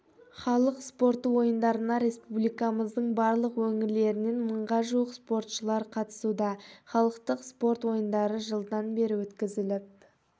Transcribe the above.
халық спорты ойындарына республикамыздың барлық өңірлерінен мыңға жуық спортшылар қатысуда халықтық спорт ойындары жылдан бері өткізіліп